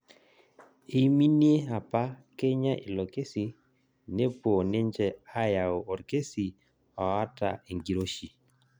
Eiminie apa Kenya ilo kesi nepuoi ninje ayau orkesi oota enkiroshii